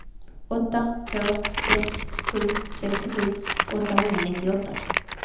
åtta två ett sju sextiosju åttahundranittioåtta